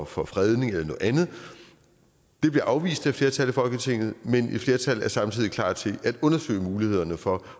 for fredning eller noget andet det bliver afvist af et flertal i folketinget men et flertal er samtidig klar til at undersøge mulighederne for